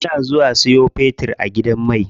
Ina zuwa siyo fetir a gidan mai.